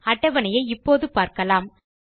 அட்டவணையை இப்போது பார்க்கலாம்